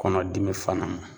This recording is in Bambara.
Kɔnɔdimi fana